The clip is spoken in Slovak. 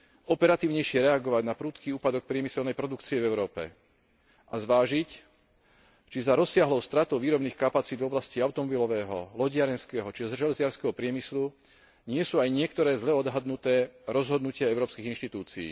operatívnejšie reagovať na prudký úpadok priemyselnej produkcie v Európe a zvážiť, či za rozsiahlou stratou výrobných kapacít v oblasti automobilového, lodiarenského či železiarskeho priemyslu nie sú aj niektoré zlé odhadnuté rozhodnutia európskych inštitúcií.